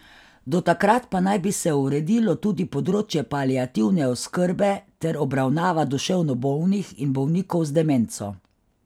Do takrat pa naj bi se uredilo tudi področje paliativne oskrbe ter obravnava duševno bolnih in bolnikov z demenco.